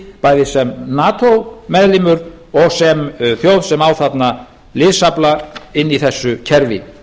bæði sem nato meðlimur og sem þjóð sem á þarna liðsafla inni í þessu kerfi